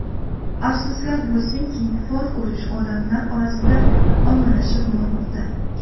Afsuslar bo‘lsinki fol ko‘rish odamlar orasida ommalashib bormoqda.